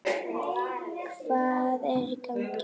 Hvað er í gangi!